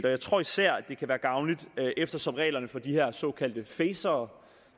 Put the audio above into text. og jeg tror især det kan være gavnligt eftersom de her såkaldte facere